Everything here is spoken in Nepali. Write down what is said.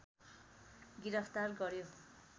गिरफ्तार गर्‍यो